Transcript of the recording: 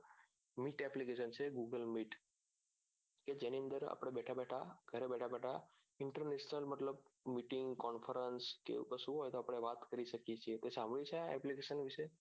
google meet કે જેની અંદર આપણે બેઠા બેઠા ગરે બેઠા બેઠા international મતલબ confarns કે એવું કશું હોય તો આપણે વાત કરી શકીએ છીએ તે સાભળ્યું છે આ application વિશે